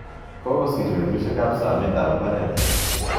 Kokosir petusyek ap somet ap mbaret.